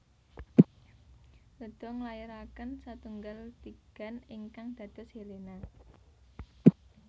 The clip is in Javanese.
Leda nglairaken satunggal tigan ingkang dados Helena